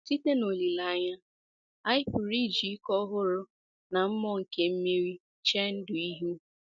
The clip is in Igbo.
“ Site n’olileanya, anyị pụrụ iji ike ọhụrụ na mmụọ nke mmeri chee ndụ ihu. ”